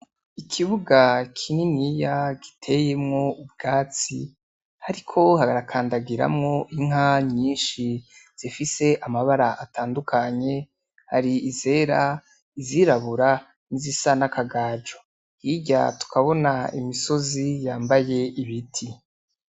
Ikibuga kininiya giteyemwo ubwatsi hariko harakandagiramwo inka nyinshi zifise amabara atandukanye. Hari izera, izirabura, nizisa n'akagaju. Hirya tukabona imisozi yambaye ibiti.